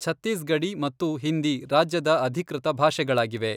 ಛತ್ತೀಸ್ಗಢೀ ಮತ್ತು ಹಿಂದಿ ರಾಜ್ಯದ ಅಧಿಕೃತ ಭಾಷೆಗಳಾಗಿವೆ.